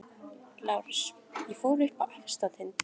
LÁRUS: Ég fór upp á efsta tind.